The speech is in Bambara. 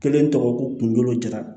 Kelen tɔgɔ ko kunkolo jara